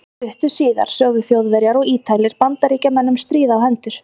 Stuttu síðar sögðu Þjóðverjar og Ítalir Bandaríkjamönnum stríð á hendur.